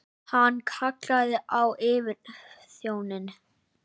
Hann kallaði á yfirþjóninn.